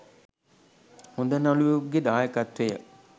හොඳ නළුවෙකුගෙ දායකත්වය